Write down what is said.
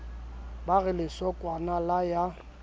ba re lesokwana la ya